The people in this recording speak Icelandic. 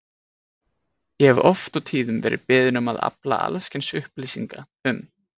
Ég hef oft og tíðum verið beðinn um að afla alls kyns upplýsinga um